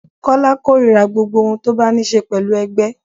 Kọ́lá korira gbogbo ohun tó bá ní ṣe pẹ̀lú ẹgbẹ́.